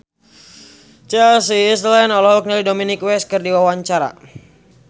Chelsea Islan olohok ningali Dominic West keur diwawancara